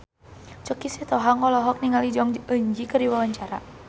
Choky Sitohang olohok ningali Jong Eun Ji keur diwawancara